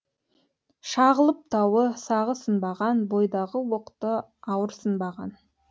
шағылып тауы сағы сынбаған бойдағы оқты ауырсынбаған